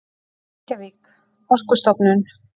Reykjavík: Orkustofnun.